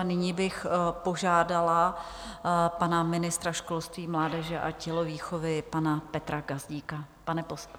A nyní bych požádala pana ministra školství, mládeže a tělovýchovy, pana Petra Gazdíka.